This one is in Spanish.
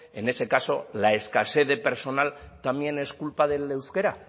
en ese caso la escasez de personal también es culpa del euskera